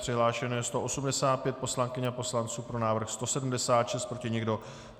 Přihlášeno je 185 poslankyň a poslanců, pro návrh 176, proti nikdo.